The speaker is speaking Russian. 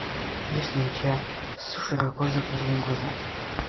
есть ли у тебя с широко закрытыми глазами